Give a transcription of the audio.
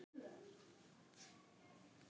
Þetta markaði nýtt upphaf.